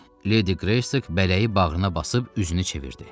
Ledi Greystoke bələyi bağrına basıb üzünü çevirdi.